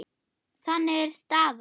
Þannig er staðan.